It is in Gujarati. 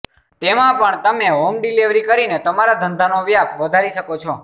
તેમાં પણ તમે હોમ ડીલીવરી કરીને તમારા ધંધાનો વ્યાપ વધારી શકો છો